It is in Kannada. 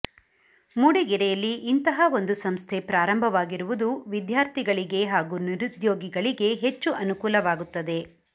ಮೂಡಿಗೆರೆಯಲ್ಲಿ ಇಂತಹ ಒಂದು ಸಂಸ್ಥೆ ಪ್ರಾರಂಭವಾಗಿರುವುದು ವಿದ್ಯಾರ್ಥಿಗಳಿಗೆ ಹಾಗೂ ನಿರುದ್ಯೋಗಿಗಳಿಗೆ ಹೆಚ್ಚು ಅನುಕೂಲವಾಗುತ್ತದೆ